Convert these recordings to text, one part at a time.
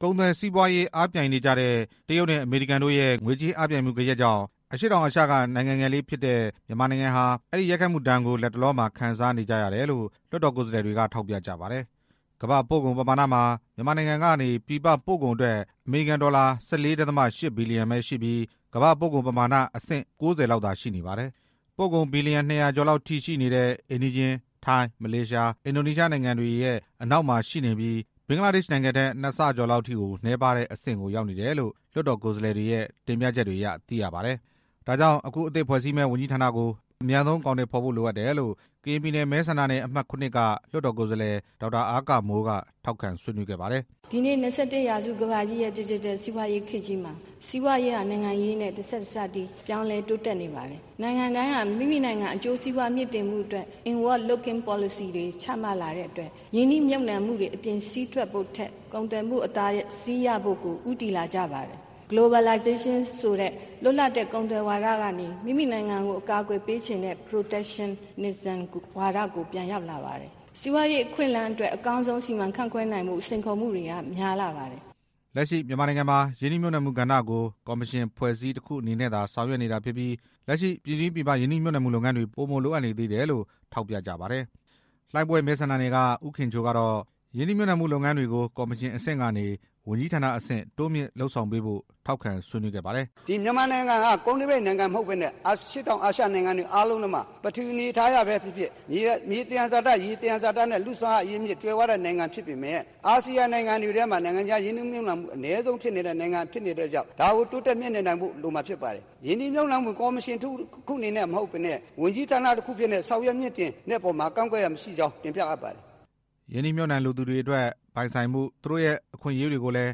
ကုန်သွယ်စီးပွားရေးအားပြိုင်နေကြတဲ့ တရုတ်နဲ့ အမေရိကန်တို့ရဲ့ ငွေကြေးအားပြိုင်မှုဂရက်ကြောင့် အရှေ့တောင်အာရှလိုနိုင်ငံငယ်လေးဖြစ်တဲ့ မြန်မာနိုင်ငံဟာ အဲဒီရိုက်ခတ်မှုဒဏ်ကို လတ်တလောမှာ ခံစားနေကြရတယ်လို့ လွှတ်တော် ကိုယ်စားလှယ်တွေက ထောက်ပြကြပါတယ်။ ကမ္ဘာ့ပို့ကုန်ပမာဏမှာ မြန်မာနိုင်ငံကနေ ပြည်ပပို့ကုန်အတွက် အမေရိကန်ဒေါ်လာ ၁၄. ၈ ဘီလျံပဲရှိပြီး ကမ္ဘာ့ပို့ကုန်ပမာဏမှာ အဆင့် ၉၀ လောက်သာရှိနေပါတယ်။ ပို့ကုန် ဘီလျံ ၂၀၀ ကျော်လောက်ထိရှိနေတဲ့ အိမ်နီးချင်း ထိုင်း၊ မလေးရှား၊ အင်ဒိုနီးရှား နိုင်ငံတို့ နောက်မှာရှိနေပြီး ဘဂ်လားဒေ့ရှ်နိုင်ငံထက် ၂ ဆ ကျော်လောက်ထိကို နည်းပါးတဲ့အဆင့်ကို ရောက်နေတယ်လို့ လွှတ်တော်ကိုယ်စားလှယ်တွေရဲ့ တင်ပြချက်တွေအရ သိရပါတယ်။ ဒါကြောင့် အခုအသစ်ဖွဲ့စည်းမယ့် ဝန်ကြီးဌာနကို အမြန်ဆုံးအကောင်အထည်ဖော်ဖို့ လိုအပ်တယ်လို့ ကရင်ပြည်နယ်မဲဆန္ဒနယ် အမှတ် ၇ က လွှတ်တော်ကိုယ်စားလှယ် ဒေါက်တာအားကာမိုးက ထောက်ခံဆွေးနွေးခဲ့ပါတယ်။ "ဒီနေ့ ၂၁ ရာစုကမ္ဘာကြီးရဲ့ ဒီဂျစ်တယ်စီးပွားရေးခေတ်ကြီးထဲမှာ စီးပွားရေးဟာ နိုင်ငံရေးနဲ့ တဆက်တည်း ပြောင်းလည်းတိုးတက်နေပါတယ်၊ နိုင်ငံတိုင်းဟာ မိမိနိုင်ငံအကျိုးစီးပွားမြှင့်တင်နိုင်ဖို့အတွက် in world locking policy တွေ ချမှတ်လာတဲ့အတွက် ရင်းနှီးမြှုပ်နှံမှုတွေ အပြင်စည်းထွက်ဖို့ထက် ကုန်သွယ်မှုအသာစီးရဖို့ကို ဦးတည်လာကြပါတယ်၊ လွတ်လပ်တဲ့ကုန်သွယ်ဝါဒကနေ မိမိနိုင်ငံကိုကာကွယ်ပေးချင်တဲ့ protestism ဝါဒကိုပြန်ရောက်လာပါတယ် စီးပွားရေးအခွင့်အလမ်းအတွက် အကောင်းဆုံးအခွင့်အရေးစီမံခန်ခွဲနိုင်မှု စိန်ခေါ်မှုတွေက များလာပါတယ်" လက်ရှိမြန်မာနိုင်ငံမှာ ရင်းနှီးမြှပ်နှံမှုကဏ္ဍကို ကော်မရှင်အဖွဲ့အစည်းတစ်ခုအနေနဲ့သာ ဆောင်ရွက်နေတာဖြစ်ပြီး လက်ရှိ ပြည်တွင်း၊ ပြည်ပရင်းနှီးမြှုပ်နှံမှုလုပ်ငန်းတွေ ပိုမိုလိုအပ်နေသေးတယ်လို့ ထောက်ပြကြပါတယ်။ လှိုင်းဘွဲ့မဲဆန္ဒနယ်က ဦးခင်ချိုကတော့ ရင်းနှီးမြှပ်နှံမှုလုပ်ငန်းတွေကို ကော်မရှင်အဆင့်ကနေ ဝန်ကြီးဌာနအဆင့် တိုးမြှင့်လုပ်ဆောင်ပေးဖို့ ထောက်ခံဆွေးနွေးခဲ့ပါတယ်။ "မြန်မာနိုင်ငံဟာ ကုန်းတွင်းပိတ်နိုင်ငံမဟုတ်ဘဲ အရှေ့တောင်အာရှနိုင်ငံတွေ အားလုံးထဲမှာ ပထဝီအနေထားအရ မြေသယံဇာတ ရေသယံဇာတ လူအရင်းမြစ် စွမ်းအားကြွယ်ဝတဲ့နိုင်ငံဖြစ်ပေမယ့် အာဆီယံနိုင်ငံတွေထဲမှာ ရင်းနှီးမြုှပ်နှံမှု အနည်းဆုံးနိုင်ငံဖြစ်နေတဲ့အတွက်ကြောင့် ဒါကိုတိုးတက်မြှင့်တင်နိုင်ဖို့ လိုအပ်ပါတယ်၊ ရင်းနှီးမြှုပ်နှံမှုတစ်ခုအနေနဲ့မဟုတ်ဘဲ ဝန်ကြီးဌာနတစ်ခုအနေနဲ့ ဆောင်ရွက်တာကို ကန့်ကွက်ရန်မရှိကြောင်း တင်ပြအပ်ပါတယ်" ရင်းနှီးမြှုပ်နှံသူတွေအတွက် ပိုင်ဆိုင်မှု၊ သူတို့ရဲ့အခွင့်အရေးတွေကိုလည်း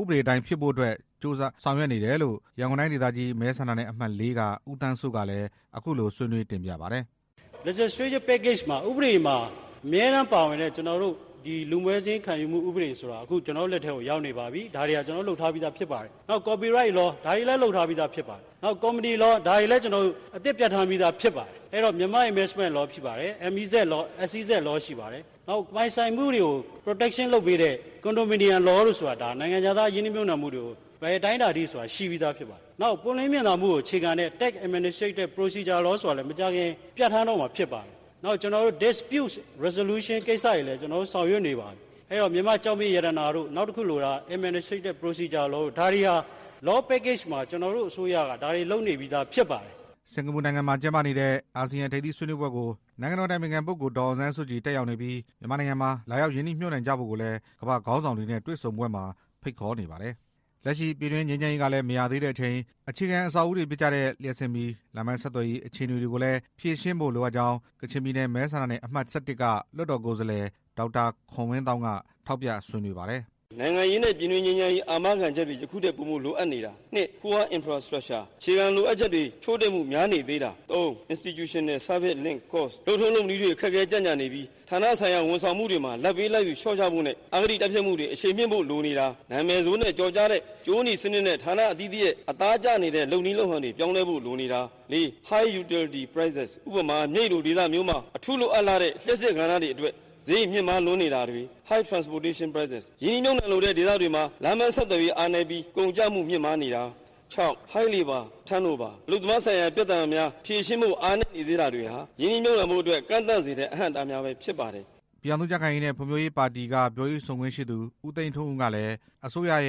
ဥပဒေအတိုင်းဖြစ်ဖို့ လိုအပ်တယ်လို့ ရန်ကုန်တိုင်းဒေသကြီး မဲဆန္ဒနယ်အမှတ် ၄ က ဦးသန်းစိုး ကလည်း အခုလိုဆွေးနွေးတင်ပြပါတယ်။ "ဥပဒေမှာအမြဲတမ်းပါဝင်တဲ့ ကျနော်တို့ လူမွဲစာရင်းပါဝင်တဲ့ဥပဒေကို ကျနော်တို့လက်ထဲမှာရောက်နေပါပြီ၊ ဒါတွေဟာ ကျနော်တို့လုပ်ထားပြီးသားဖြစ်ပါတယ်၊ ကော်ပီရိုက်လော ဒါတွေလည်းလုပ်ထားပြီးသားဖြစ်ပါတယ်၊ ကုမ္ပဏီလော ဒါတွေလည်းအသစ်ပြဌာန်းပြီးသား ဖြစ်ပါတယ်၊ အဲတော့ မြန်မာအင်ဘက်စမန့်လောဖြစ်ပါတယ်၊ အစီစပ်လောရှိပါတယ် ပိုင်ဆိုင်မှုတွေကို ကာကွယ်ပေးတဲ့ ကွန်ဒိုမီနီယမ်လောတို့ဆိုတာ နိုင်ငံခြားသား ရင်းနှီးမြှုပ်နှံမှုတွေကို ဘယ်အတိုင်းအတာထိရှိပြီးသားဖြစ်ပါတယ် နောက်အစိုးရက လိုအပ်တဲ့ဥပဒေတွေကို လုပ်နေပါပြီ" စင်္ကာပူနိုင်ငံမှာကျင်းပနေတဲ့ အာဆီယံထိပ်သီးဆွေးနွေးပွဲကို နိုင်ငံတော်အတိုင်ပင်ခံပုဂ္ဂိုလ် ဒေါ် အောင်ဆန်းစုကြည် တက်ရောက်နေပြီး မြန်မာနိုင်ငံမှာ လာရောက်ရင်းနှီးမြှုပ်နံှကြဖို့ကိုလည်း ကမ္ဘာ့ခေါင်းဆောင်တွေနဲ့ တွေ့ဆုံပွဲမှာ ဖိတ်ခေါ်နေပါတယ်။ လက်ရှိပြည်တွင်းငြိမ်းချမ်းရေးကလည်း မရသေးတဲ့အချိန် အခြေခံအဆောက်အဦးတွေဖြစ်ကြတဲ့ လျှပ်စစ်မီး၊ လမ်းပန်းဆက်သွယ်ရေး အခြေအနေတွေကိုလည်း ဖြေရှင်းဖို့လိုအပ်ကြောင်း ကချင်ပြည်နယ် မဲဆန္ဒနယ် အမှတ် ၁၁ က လွှတ်တော်ကိုယ်စားလှယ် ဒေါက်တာခွန်ဝင်းသောင်းက ထောက်ပြဆွေးနွေးပါတယ်။ "နိုင်ငံရေးနဲ့ ပြည်တွင်းငြိမ်းချမ်းရေးတွေ ယခုထက်ပိုပြီး အာမခံချက်ရှိဖို့ ပိုမိုလိုအပ်နေတာ၊ အခြေခံလိုအပ် ချက်တွေ များနေသေးတာ၊ လုပ်ထုံးလုပ်နည်းတွေ ကြန့်ကြာနေပြီး ဌာနဆိုင်ရာဝန်ဆောင်မှုတွေမှာ လာဘ်ပေး လာဘ်ယူလျော့ချဖို့နဲ့ အဂတိတိုက်ဖျက်ဖို့တွေ အရှိန်မြှင့်ဖို့လိုနေတာ၊ နာမည်ဆိုးနဲ့ကျော်ကြားတဲ့ ကြိုးနီစနစ်တွေ အသားကျနေတဲ့ ဌာနအသီးသီးရဲ့ လုပ်နည်းလုပ်ဟန်တွေပြောင်းဖို့လိုနေတာ၊ မြိတ်လိုဒေသမျိုးမှာ အထူးလိုအပ်လှတဲ့ လျှပ်စစ်ကဏ္ဍာမျိုးတွေမှာ ဈေးအလွန်မြင့်မားနေတာ၊ ရင်းနှီးမြှုပ်နှံလိုတဲ့ဒေသတွေမှာ လမ်းပန်းဆက်သွယ်ရေးအားနည်းပြီး ကုန်ကျမှုမြင့်မားနေတာ၊ အလုပ်သမားဆိုင်ရာပြဿနာတွေမှာ ဖြေရှင်းဖို့အားနည်းနေတာဟာ ရင်းနှီးမြှုပ်နှံမှုတွေကို ကန့်သတ်စေတဲ့ အဟန့်အတားတွေဖြစ်ပါတယ်" ပြည်ထောင်စု ကြံ့ခိုင်ရေးနှင့် ဖွံ့ဖြိုးရေးပါတီ ပြောရေးဆိုခွင့်ရှိသူ ဦးသိန်းထွန်းဦးကလည်း အစိုးရက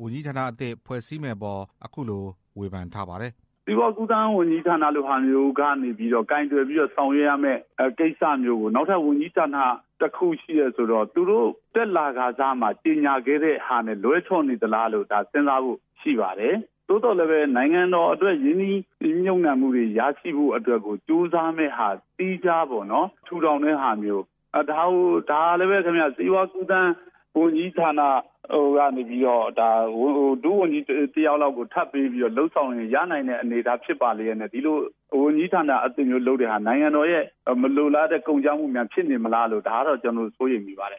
ဝန်ကြီးဌာနအသစ် တစ်ခုထပ်မံဖွဲ့စည်းမယ့်အပေါ် အခုလိုပြောပါတယ်။ "စီးပွားကူးသန်းလို ဝန်ကြီးဌာနလိုဟာမျိုးကနေပြီးတော ကိုင်တွယ်ဆောင်ရွက်ရမယ့် ကိစ္စမျိုးကို နောက်ထပ် ဝန်ကြီးဌာန တစ်ခုဆိုတော့ သူတို့တက်လာကာစက ကြေညာထားတာနဲ့ လွဲချော်နေသလားလို့ စဉ်းစားဖို့ရှိပါတယ် သို့သော်လည်းဘဲ နိုင်ငံအတွက် ရင်းနှီးမြှုပ်နှံတွေရရှိဖို့အတွက် ကြိုးစားမယ့်ဟာမျိုးကို သီးခြားထူထောင်ဟာမျိုး ဒါကို စီးပွားကူးသန်းဝန်ကြီးဌာနကနေပြီးတော့ ဒုဝန်ကြီးတယောက်လောက်ထပ်ပေးပြီး လုပ်ဆောင်လို့ရှိရင် ရလောက်တဲ့အနေထားဖြစ်ပါလျက်နဲ့ ဝန်ကြီးဌာနအသစ်မျိုးလုပ်တဲ့ဟာ နိုင်ငံတော်အတွက် မလိုလားအပ်တဲ့ ကုန်ကျမျိုးဖြစ်နေမလားဆိုပြီး ကျနော်တို့စိုးရိမ်မိပါတယ်"